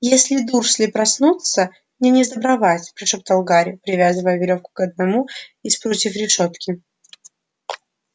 если дурсли проснутся мне несдобровать прошептал гарри привязывая верёвку к одному из прутьев решётки